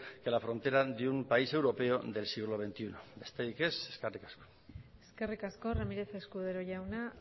que la frontera de un país europeo del siglo veintiuno besterik ez eskerrik asko eskerrik asko ramírez escudero jauna